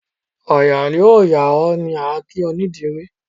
Òòyà ó yà o! ni a kí onídìrí.